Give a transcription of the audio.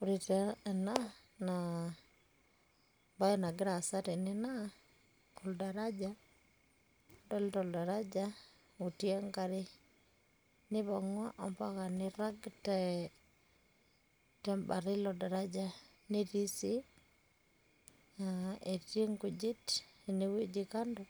ore taa ena naa ebae nagira aasa tene naa adolita aoldaraja otii enkare neipangua mpaka nirag tebata ilo daraja otii enkare. netii nkujit ine wueji kando